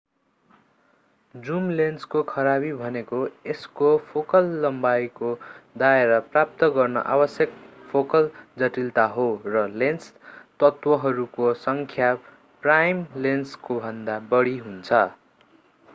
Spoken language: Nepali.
जुम लेन्सको खराबी भनेको यसको फोकल लम्बाईको दायरा प्राप्त गर्न आवश्यक फोकल जटिलता हो र लेन्स तत्वहरूको सङ्ख्या प्राइम लेन्सकोभन्दा बढी हुन्छ